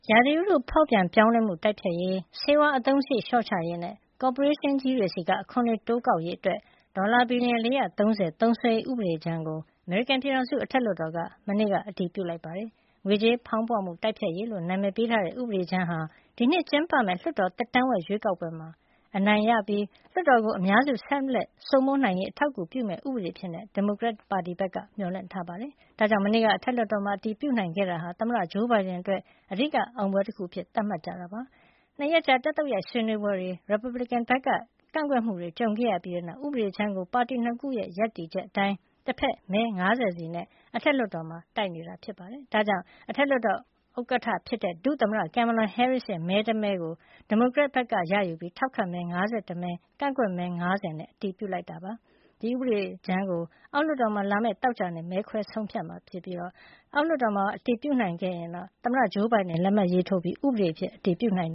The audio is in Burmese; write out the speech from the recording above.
ရာသီဥတုဖေါက်ပြန်ပြောင်းလဲမှုတိုက်ဖျက်ရေး၊ ဆေးဝါးအသုံးစရိတ် လျှော့ချရေးနဲ့ ကော်ပိုရေးရှင်းကြီးတွေဆီက အခွန်တွေ တိုးကောက်ရေး ဒေါ်လာ ဘီလျံ ၄၃၀ သုံးစွဲရေး ဥပဒေကြမ်းကို အထက်လွှတ်တော်က မနေ့က အတည်ပြုလိုက်ပါတယ်။ ငွေကြေးဖေါင်းပွမှု တိုက်ဖျက်ရေးလို့ နာမည်ပေးထားတဲ့ ဥပဒေကြမ်းဟာ ဒီနှစ် ကျင်းပမယ့် လွှတ်တော် သက်တမ်းဝက် ရွေးကောက်ပွဲတွေမှာ အနိုင်ရပြီး လွှတ်တော်ကို အများစု ဆက်လက်စိုးမိုးနိုင်ရေး အထောက်အကူပြုမယ့် ဥပဒေအဖြစ် ဒီမိုကရက်ပါတီဘက်က မျှော်လင့်ထားပါတယ်။ ဒါကြောင့်လည်း မနေ့က အထက်လွှတ်တော်မှာ အတည်ပြုနိုင်ခဲ့တာဟာ သမ္မတ Joe Biden အတွက် အဓိက အောင်ပွဲ တခုအဖြစ် သတ်မှတ်ထားပါတယ်။ နှစ်ရက်ကြာ တက်သုတ်ရိုက် ဆွေးနွေးပွဲတွေ၊ ရီပတ်ဗလစ်ကန်ဘက်က ကန့်ကွက် မှုတွေ ကြုံရပြီးတဲ့နောက် ဥပဒေကြမ်းကို ပါတီနှစ်ခုရဲ့ ရပ်တည်ချက်အတိုင်း တဘက်မဲ ၅၀ ဆီနဲ့ အထက်လွှတ်တော်မှာ တိုက်နေပါတယ်။ ဒါကြောင့် အထက် လွှတ်တော် ဥက္ကဋ္ဌဖြစ်တဲ့ ဒုသမ္မတ Kamala Harris ရဲ့မဲ တမဲကို ဒီမိုကရက်ဘက် က ရယူပြီး ထောက်ခံမဲ့ ၅၁ မဲ၊ ကန့်ကွက်မဲ ၅၀ နဲ့ အတည်ပြုလိုက်ပါတယ်။ ဒီ ဥပဒေကြမ်းကို အောက်လွှတ်တော်မှာ လာမယ့် သောကြာနေ့ မဲခွဲ ဆုံးဖြတ်မယ်လို့ မျှော်လင့်ထားကြပါတယ်။ အောက်လွှတ်တော်မှာပါ အတည်ပြုနိုင်ပြီး သမ္မတ Joe Biden လက်မှတ်ရေးထိုးပြီးရင် ဥပဒေအဖြစ် အတည်ပြုနိုင်